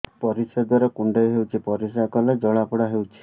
ପରିଶ୍ରା ଦ୍ୱାର କୁଣ୍ଡେଇ ହେଉଚି ପରିଶ୍ରା କଲେ ଜଳାପୋଡା ହେଉଛି